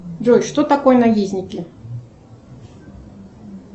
джой что такое наездники